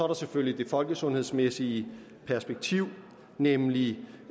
der selvfølgelig det folkesundhedsmæssige perspektiv nemlig